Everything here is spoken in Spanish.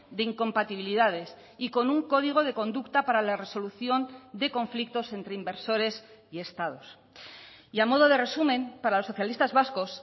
de incompatibilidades y con un código de conducta para la resolución de conflictos entre inversores y estados y a modo de resumen para los socialistas vascos